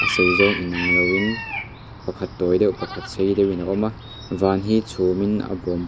sei zawng inang lo in pakhat tawi deuh pakhat sei deuhin a awm a van hi chhum in a bawm bawk.